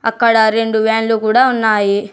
అక్కడ రెండు వ్యాన్లు కూడా ఉన్నాయి.